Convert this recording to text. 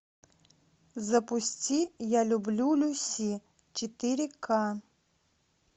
запусти я люблю люси четыре ка